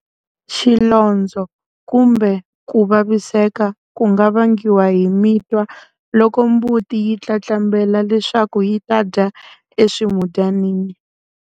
Xilondzo kumbe ku vaviseka ku nga vangiwa hi mitwa loko mbuti yi tlatlambela leswaku yi ta dya eswimudyaninini.